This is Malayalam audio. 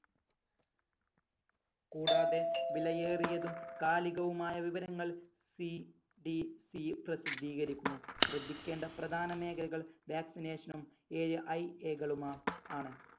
കൂടാതെ വിലയേറിയതും കാലികവുമായ വിവരങ്ങൾ CDC പ്രസിദ്ധീകരിക്കുന്നു ശ്രദ്ധിക്കേണ്ട പ്രധാനമേഖലകൾ vaccination ഉം AIA കളുമ ആണ്